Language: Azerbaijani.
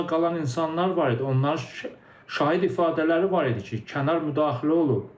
Sağ qalan insanlar var idi, onların şahid ifadələri var idi ki, kənar müdaxilə olub.